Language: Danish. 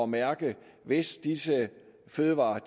mærke hvis disse fødevarer